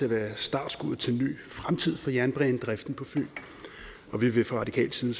at være startskuddet til en ny fremtid for jernbanedriften på fyn og vi vil fra radikal side